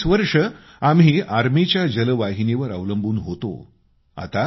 गेली 40 वर्षे आम्ही आर्मीच्या जलवाहिनीवर अवलंबून होतो